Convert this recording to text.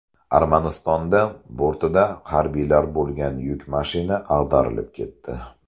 Armanistonda bortida harbiylar bo‘lgan yuk mashina ag‘darilib ketdi.